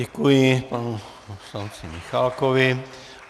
Děkuji panu poslanci Michálkovi.